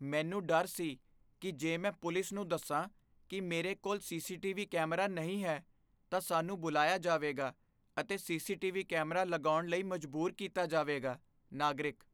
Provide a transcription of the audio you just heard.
ਮੈਨੂੰ ਡਰ ਸੀ ਕੀ ਜੇ ਮੈਂ ਪੁਲਿਸ ਨੂੰ ਦੱਸਾਂ ਕੀ ਮੇਰੇ ਕੋਲ ਸੀ.ਸੀ.ਟੀ.ਵੀ. ਕੈਮਰਾ ਨਹੀਂ ਹੈ ਤਾਂ ਸਾਨੂੰ ਬੁਲਾਇਆ ਜਾਵੇਗਾ ਅਤੇ ਸੀ.ਸੀ.ਟੀ.ਵੀ. ਕੈਮਰਾ ਲਗਾਉਣ ਲਈ ਮਜਬੂਰ ਕੀਤਾ ਜਾਵੇਗਾ ਨਾਗਰਿਕ